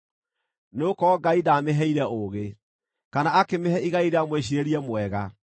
nĩgũkorwo Ngai ndaamĩheire ũũgĩ kana akĩmĩhe igai rĩa mwĩciirĩrie mwega.